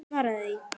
Svaraðu því!